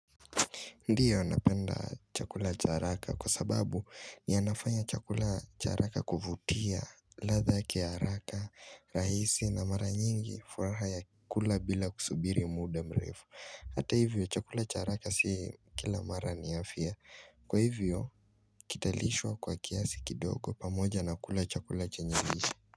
Ndio napenda chakula cha haraka kwa sababu yanafanya chakula cha haraka kuvutia latha ya haraka rahisi na mara nyingi furaha ya kula bila kusubiri muda mrefu Hata hivyo chakula cha haraka si kila mara ni afya Kwa hivyo kita lishwa kwa kiasi kidogo pamoja na kula chakula chenyelisha.